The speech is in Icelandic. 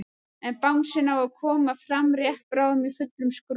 En bangsinn á að koma fram rétt bráðum í fullum skrúða.